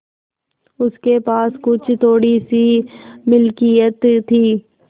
उसके पास कुछ थोड़ीसी मिलकियत थी